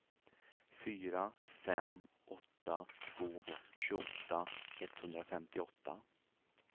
fyra fem åtta två tjugoåtta etthundrafemtioåtta